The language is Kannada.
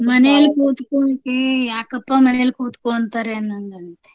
ಮನೇಲ್ ಕೂನ್ತ್ಕೂತ್ಕೇ ಯಾಕಪ್ಪಾ ಮನೇಲ್ ಕೂತ್ಕೋ ಅಂತಾರೇ ಅನ್ನಂಗಾಗತ್ತೆ.